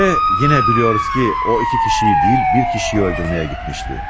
Və yenə biliyoruz ki, o iki kişiyi deyil, bir kişiyi öldürməyə getmişdi.